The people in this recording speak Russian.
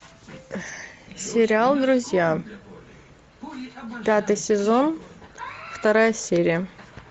сериал друзья пятый сезон вторая серия